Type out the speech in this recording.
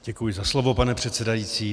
Děkuji za slovo, pane předsedající.